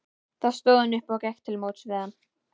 Þá stóð hún upp og gekk til móts við hann.